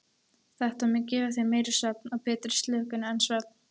Þetta mun gefa þér meiri og betri slökun en svefn.